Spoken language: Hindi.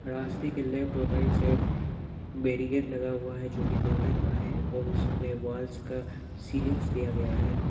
प्लास्टिक के लेफ्ट और राइट साइड बेरीगेट लगा हुआ है जो कि लोहे का है और उसमें वाल्स का सीलिंग्स दिया गया है।